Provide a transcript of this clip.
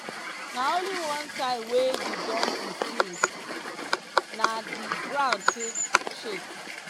na only one time wey the donkey sing na di ground take shake.